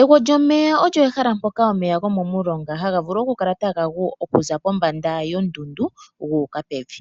Egwo lyomeya olyo ehala mpoka omeya gomomulonga haga vulu okukala taga gu okuza pombanda yondundu gu uka pevi.